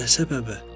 Nə səbəbə?